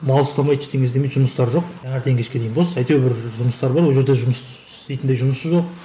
мал ұстамайды ештеңке істемейді жұмыстары жоқ таңертең кешке дейін бос бір жұмыстары бар ол жерде жұмыс істейтіндей жұмысы жоқ